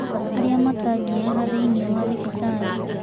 Arĩa matangĩaga thĩiniĩ wa thibitarĩ